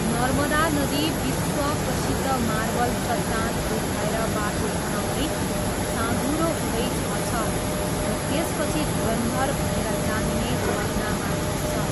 नर्मदा नदी, विश्व प्रसिद्ध मार्बल चट्टानहरू भएर बाटो बनाउँदै, साँघुरो हुँदै झर्छ र त्यसपछि धुन्धर भनेर जानिने झरनामा खस्छ।